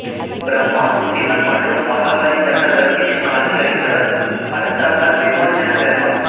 பிரம்மா சிவன் மற்றும் மகாபலி சக்கரவர்த்திக்குக் காட்சி அளித்தவர் ஹர சாப விமோசனப் பெருமாள்